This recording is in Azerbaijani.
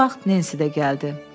Bu vaxt Nensi də gəldi.